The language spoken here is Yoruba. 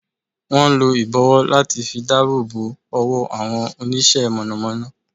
Wón n lo ìbọ̀wọ́ láti fi dáàbòbò owó àwọn Onísẹ́ - mọ̀nọ̀mọ́nọ́